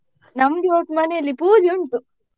ನಮ್ದು ಇವತ್ ಮನೇಲಿ ಪೂಜೆ ಉಂಟು.